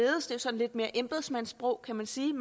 lidt mere embedsmandssprog kan man sige